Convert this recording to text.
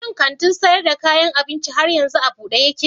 Shi kantin sayar da kayan abincin har yanzu a buɗe yake?